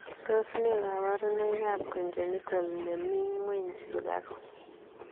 Tos nee kabarunoik ap konjenitol nemiing ngweny sukaruk?